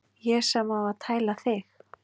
Ég sem á að tæla þig.